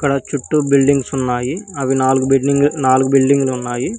అక్కడ చుట్టూ బిల్డింగ్స్ ఉన్నాయి అవి నాలుగు బిల్డింగ్ నాలుగు బిల్డింగులు ఉన్నాయి.